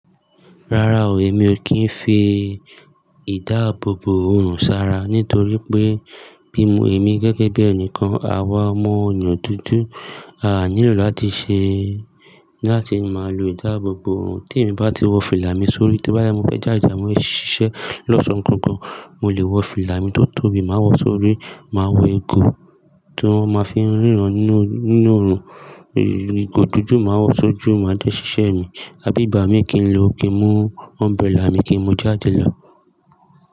Rárá o, èmi ò kí ń fi ìdáàbòbò ọrùn ṣara nítorí pé bí mo, èmi gẹ́gẹ́ bí ẹnìkan àwa ọmọ ọ̀yàn dúdú, a nílò láti ṣe, láti máa lo ìdáàbòbò ọrùn. Tí èmi bá ti wọ fìlà mi sórí, tí bá yẹ mú fẹ́ já ìjà, mo lè ṣiṣẹ́ lọ́sàn-án kan kan, mo lè wọ fìlà mi tó tóbi, màá wọ sórí, màá wọ ìgò ti won máa fi ń ríran nínú, nínú ọrùn. Ìgò dúdú màá wọ sójú, màá jẹ́ ṣiṣẹ́ mi, àbí ìgbà mi kì í lọ, kí n mú umbrella mi kí n mu jáde láàbò.